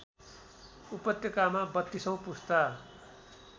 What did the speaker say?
उपत्यकामा बत्तीसौँ पुस्ता